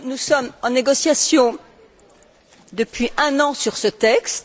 nous sommes en négociation depuis un an sur ce texte.